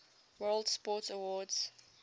world sports awards